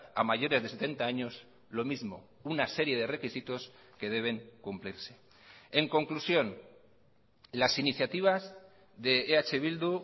a mayores de setenta años lo mismo una serie de requisitos que deben cumplirse en conclusión las iniciativas de eh bildu